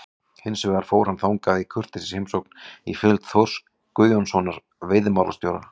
Hins vegar fór hann þangað í kurteisisheimsókn í fylgd Þórs Guðjónssonar veiðimálastjóra.